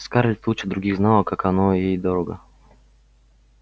скарлетт лучше других знала как оно ей дорого